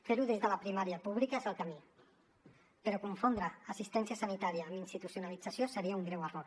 fer ho des de la primària pública és el camí però confondre assistència sanitària amb institucionalització seria un greu error